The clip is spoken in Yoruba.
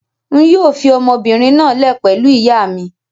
Ń yìí ó fii ọmọbìnrin náà lẹ̀ pẹ̀lú ìyà mi